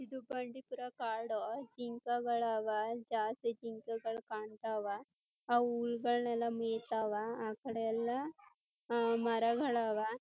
ಇದು ಬಂಡೀಪುರ ಕಾಡು. ಜಿಂಕೆಗಳ್ ಆವಾ ಜಾಸ್ತಿ ಜಿಂಕೆಗಳ್ ಕಾಣ್ತವ ಅವು ಹುಲ್ಗ್ಲಾನೆಲ್ಲ ಮೈತಾವ ಆಕಡೆ ಎಲ್ಲ ಆ ಮರಗಳ್ ಅವ .